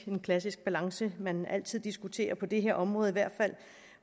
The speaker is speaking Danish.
en klassisk balance man altid diskuterer på det her område i hvert fald